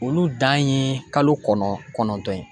Olu dan ye kalo kɔnɔn kɔnɔntɔn ye.